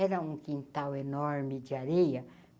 Era um quintal enorme de areia.